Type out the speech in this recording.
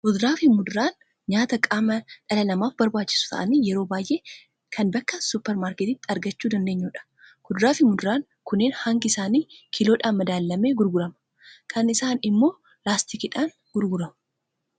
Fuduraa fi muduraan nyaata qaama dhala namaaf barbaachisu ta'anii, yeroo baay'ee kan bakka suuper marketiitti argachuu dandeenyu dha. Kuduraa fi muduraan kunneen hangi isaanii kiiloodhaan madaalamee gurgurama. Kaan isaanii immoo laastikiidhaan gurguramu.